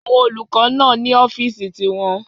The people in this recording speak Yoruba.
Àwọn olùkọ́ náà ní ọ́fìsì ti wọn